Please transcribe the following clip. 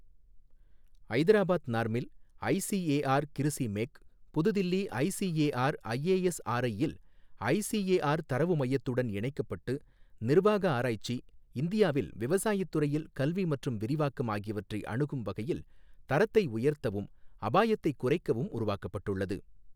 ஐதராபாத் நார்மில், ஐசிஏஆர் கிருசி மேக், புதுதில்லி ICAR IASRI யில் ஐசிஏஆர் தரவு மையத்துடன் இணைக்கப்பட்டு, நிர்வாக ஆராய்ச்சி, இந்தியாவில் விவசாயத்துறையில் கல்வி மற்றும் விரிவாக்கம் ஆகியவற்றை அணுகும் வகையில், தரத்தை உயர்த்தவும், அபாயத்தை குறைக்கவும் உருவாக்கப்பட்டுள்ளது.